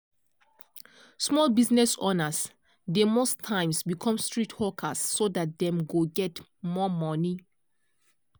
small business owners dey most times become street hawkers so that dem go get more money.